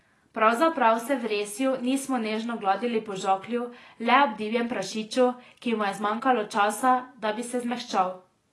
Pravzaprav se v Resju nismo nežno gladili po žaklju le ob divjem prašiču, ki mu je zmanjkalo časa, da bi se zmehčal.